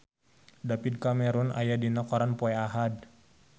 David Cameron aya dina koran poe Ahad